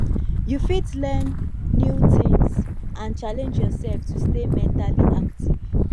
you fit learn new tings and challenge yourself to stay mentally active